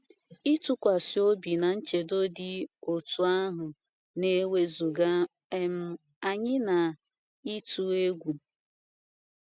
Ịtụkwasị obi na nchedo dị otú ahụ na-ewezụga um anyị n’ịtụ egwu.